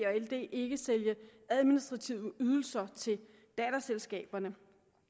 og ld ikke sælge administrative ydelser til datterselskaberne